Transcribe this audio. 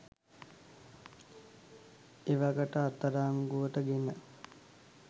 එවකට අත්අඩංගුවට ගෙන